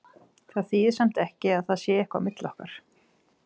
Það þýðir samt ekki að það sé eitthvað á milli okkar.